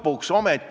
Suur aitäh!